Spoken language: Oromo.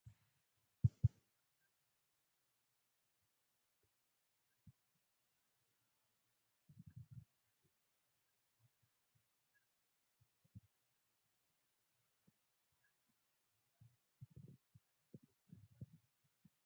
Aasxaa dhaabbata tamsaasa neetorkii Oromiyyaati. Aasxaa kana gidduu odaan ni jira. Akkasumas, barreeffamni gabaajee aasxaa kana irra kan jiruudha. Haallun gurraachi aasxaa kana gubbaa fi jalaan kan jiru yoo ta'u, haalluu adiinis aasxaa kana keessa kan jiruudha.